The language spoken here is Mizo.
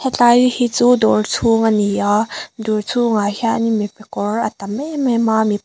hetlai hi chu dawr chhung a ni a dawr chhungah hian mipa kawr a tam em em a--